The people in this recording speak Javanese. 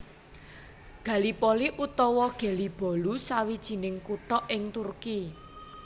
Gallipoli utawa Gelibolu sawijining kutha ing Turki